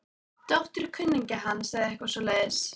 Dóttir kunningja hans eða eitthvað svoleiðis.